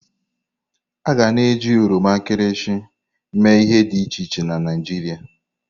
A ga na eji oroma nkịrịsị emee ihe dị iche iche na Naịjirịa.